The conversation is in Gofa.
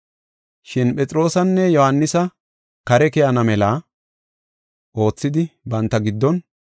Shin Phexroosanne Yohaanisa kare keyana mela oothidi banta giddon,